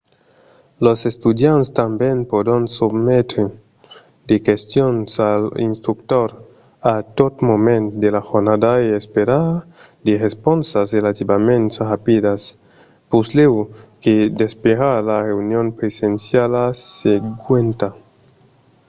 los estudiants tanben pòdon sometre de questions als instructors a tot moment de la jornada e esperar de responsas relativament rapidas puslèu que d'esperar la reünion presenciala seguenta